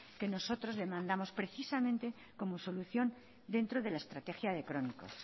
que nosotros demandamos precisamente como solución dentro de la estrategia de crónicos